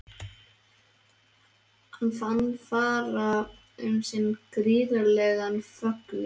Hann fann fara um sig gríðarlegan fögnuð.